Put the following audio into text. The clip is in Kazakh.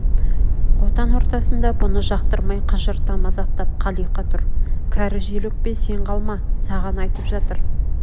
қотан ортасында бұны жақтырмай қыжырта мазақтап қалиқа тұр кәрі жел өкпе сен қалма саған айтып жатыр